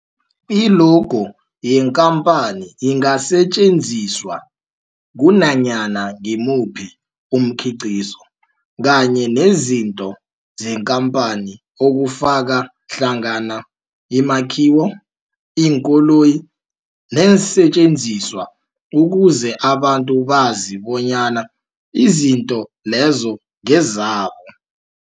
I-logo yekhamphani ingasetjenziswa kunanyana ngimuphi umkhiqizo kanye nezinto zekhamphani okufaka hlangana imakhiwo, iinkoloyi neensentjenziswa ukuze abantu bazi bonyana izinto lezo ngezabo.